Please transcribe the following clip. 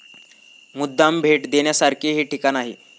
मुद्दाम भेट देण्यासारखे हे ठिकाण आहे.